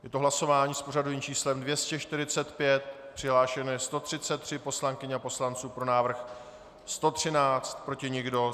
Je to hlasování s pořadovým číslem 245, přihlášeno je 133 poslankyň a poslanců, pro návrh 113, proti nikdo.